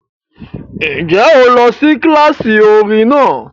Ǹjẹ́ o lọ sí kíláàsì orin náà?